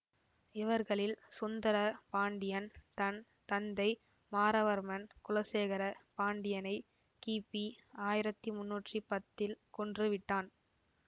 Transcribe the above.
இவர்களில் சுந்தர பாண்டியன் தன் தந்தை மாறவர்மன் குலசேகர பாண்டியனை கிபி ஆயிரத்தி முன்னூற்றி பத்தில் கொன்று விட்டான்